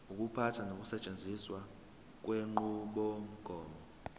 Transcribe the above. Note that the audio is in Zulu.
ukuphatha nokusetshenziswa kwenqubomgomo